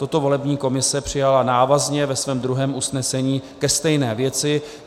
Toto volební komise přijala návazně ve svém druhém usnesení ke stejné věci.